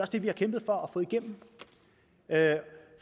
det vi har kæmpet for at